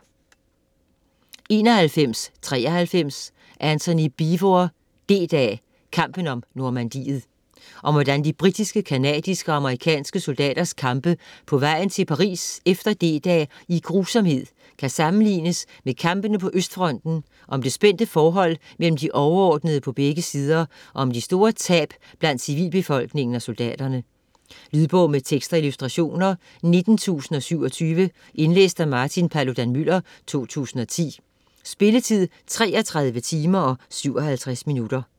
91.93 Beevor, Antony: D-dag: kampen om Normandiet Om hvordan de britiske, canadiske og amerikanske soldaters kampe på vejen til Paris efter D-dag i grusomhed kan sammenlignes med kampene på østfronten, om det spændte forhold mellem de overordnede på begge sider og om de store tab blandt civilbefolkningen og soldaterne. Lydbog med tekst og illustrationer 19027 Indlæst af Martin Paludan-Müller, 2010. Spilletid: 33 timer, 57 minutter.